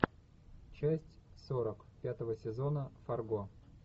часть сорок пятого сезона фарго